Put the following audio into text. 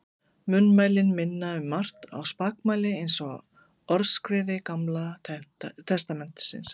Munnmælin minna um margt á spakmæli eins og Orðskviði Gamla testamentisins.